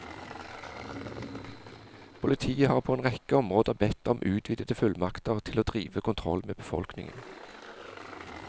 Politiet har på en rekke områder bedt om utvidede fullmakter til å drive kontroll med befolkningen.